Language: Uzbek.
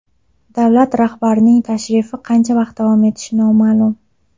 Davlat rahbarining tashrifi qancha vaqt davom etishi noma’lum.